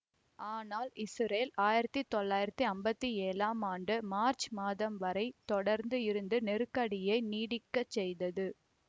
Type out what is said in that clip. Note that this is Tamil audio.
ஆனால் இசுரேல் ஆயிரத்தி தொள்ளயிறத்தி அம்பத்தி ஏலாம் ஆம் ஆண்டு மார்ச் மாதம் வரை தொடர்ந்து இருந்து நெருக்கடியை நீடிக்க செய்தது